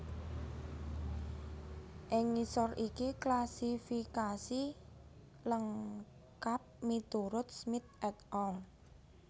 Ing ngisor iki klasifikasi lengkap miturut Smith et al